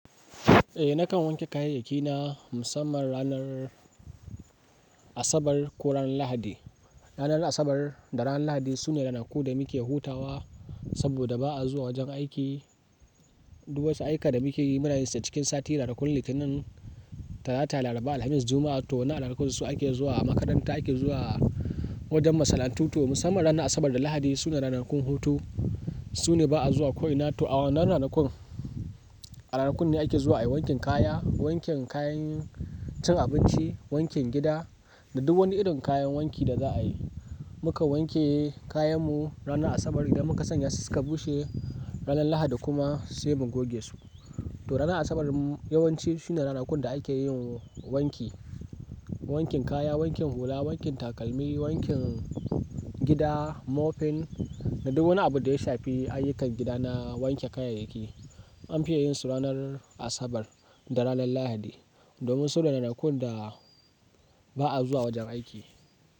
Eh nakan wanke kayayyaki na musamman ranar Asabar ko ran Lahadi. Ranar Asabar da ran Lahadi sune ranaku da muke hutawa saboda ba a zuwa wajen aiki. Duk wasu ayuka da muke yi munayinsa cikin sati ranakun Litinin, Talata, Laraba, Alhamis, Juma'a to waɗannan ranaku su ake zuwa makaranta, ake zuwa wajen masana'antu to musamman ranar Asabar da Lahadi sune ranakun hutu, sune ba a zuwa ko ina. To awannan ranakun, a ranakun ne ake zuwa ayi wanken kaya, wanken kayan cin abinci, wanken gida da duk wani irin kayan wanki da za a yi. Mu kan wanke kayan mu ranar Asabar idan muka sanya su su ka bushe, ranar Lahadi kuma sai mu goge su. To ranar Asabar yawanci shine ranakun da a ke yin wanki. Wankin kaya, wankin hula, wankin takalmi, wankin gida, moping da duk wani abu da ya shafi ayyukan gida na wanke kayayyaki an fiya yin su ranar Asabar da ranar Lahadi. Domin su ne ranakun da ba a zuwa wajen aiki.